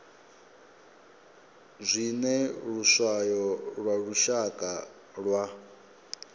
zwine luswayo lwa lushaka lwa